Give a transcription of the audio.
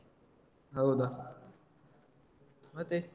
ಹೌದಾ ಮತ್ತೆ.